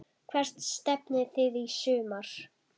Hvert stefnið þið í sumar?